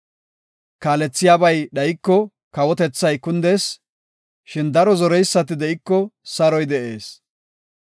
Kaalethiyabay dhayiko, kawotethay kundees; shin daro zoreysati de7iko, saroy de7ees.